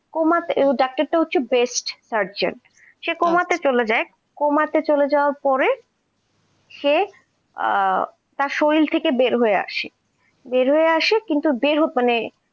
doctor টা হচ্ছে best surjent সে coma তে চলে যায়, coma তে চলে যাওয়ার পরে সে তার শরীর থেকে বের হয়ে আসে, বের হয়ে আসে কিন্তু মানে